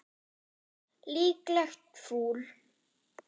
Líklegt fúl.